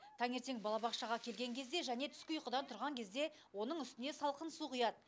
таңертең балабақшаға келген кезде және түскі ұйқыдан тұрған кезде оның үстіне салқын су құяд